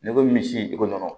N'i ko misi joko n don